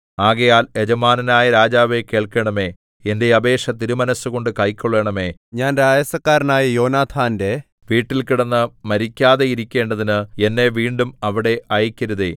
ആകയാൽ യജമാനനായ രാജാവേ കേൾക്കണമേ എന്റെ അപേക്ഷ തിരുമനസ്സുകൊണ്ട് കൈക്കൊള്ളണമേ ഞാൻ രായസക്കാരനായ യോനാഥാന്റെ വീട്ടിൽ കിടന്ന് മരിക്കാതെയിരിക്കേണ്ടതിന് എന്നെ വീണ്ടും അവിടെ അയയ്ക്കരുതേ